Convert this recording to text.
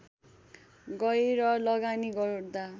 गएर लगानी गर्दा